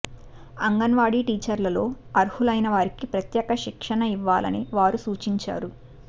అంగన్వాడీ టీచర్లలో అర్హులైన వారికి ప్రత్యేక శిక్షణ ఇవ్వాలని వారు సూచించారు